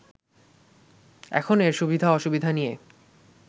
এখন এর সুবিধা অসুবিধা নিয়ে